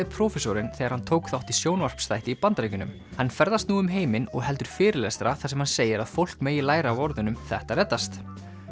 prófessorinn þegar hann tók þátt í sjónvarpsþætti í Bandaríkjunum hann ferðast nú um heiminn og heldur fyrirlestra þar sem hann segir að fólk megi læra af orðunum þetta reddast